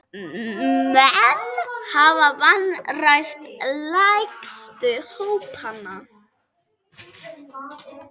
Menn hafa vanrækt lægstu hópana.